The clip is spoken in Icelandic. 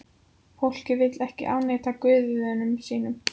Fólkið vill ekki afneita guðum sínum.